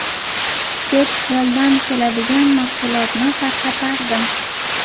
Chet eldan keladigan mahsulotni tarqatardim.